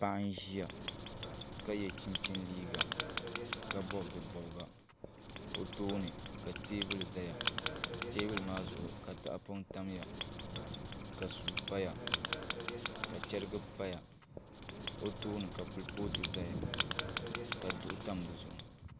Paɣa n ʒiya ka yɛ chinchin liiga ka bob di bobga o tooni ka teebuli ʒɛya teebuli maa zuɣu ka tahapoŋ tamya ka suu paya ka chɛrigi paya o tooni ka kurifooti ʒɛya ka bin tam dizuɣu